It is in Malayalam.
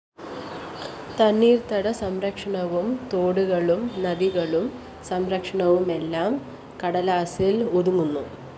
തണ്ണീര്‍ത്തട സംരക്ഷണവും തോടുകളും നദികളും സംരക്ഷണവുമെല്ലാം കടലാസില്‍ ഒതുങ്ങുന്നു